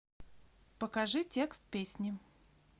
покажи текст песни